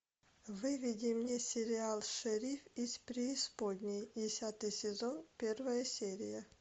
выведи мне сериал шериф из преисподней десятый сезон первая серия